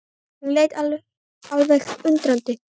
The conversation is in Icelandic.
Hún leit á hann alveg undrandi.